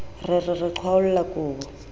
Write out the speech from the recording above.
re re re qhwaolla kobo